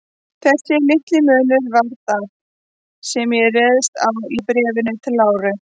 Þessi litli munur var það, sem ég réðst á í Bréfi til Láru.